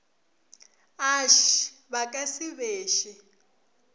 ašii ba ka se beše